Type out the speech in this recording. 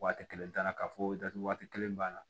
Waati kelen t'a la k'a fɔ datugu waati kelen b'a la